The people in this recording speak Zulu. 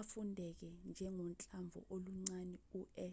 afundeke njengohlamvu oluncane u-e